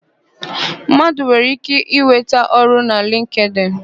Mmadụ nwere íké ịnweta ọrụ na lịnktịn.